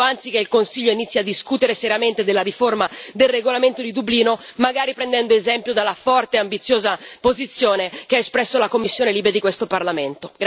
È il momento, anzi, che il Consiglio inizi a discutere seriamente della riforma del regolamento di Dublino, magari prendendo esempio dalla forte e ambiziosa posizione che ha espresso la commissione LIBE di questo Parlamento.